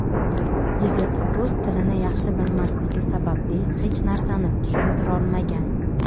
Yigit rus tilini yaxshi bilmasligi sababli hech narsani tushuntirolmagan.